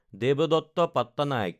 দেৱদত্ত Pattanaik